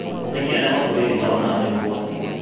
Nĩkĩĩ arĩa makuhĩrĩirie marona arĩ ũgwati?